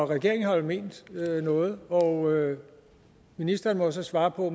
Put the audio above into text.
regeringen har vel ment noget og ministeren må så svare på